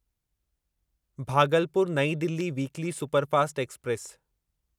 Bhagalpur New Delhi weekly superfast express